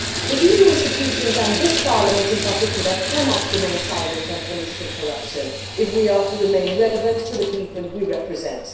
The EU institutions, and this Parliament in particular, cannot remain silent on political corruption if we are to remain relevant to the people we represent.